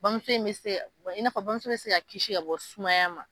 Bamuso in mi se ka i n'a fɔ bamuso bɛ se ka kisi ka bɔ sumaya ma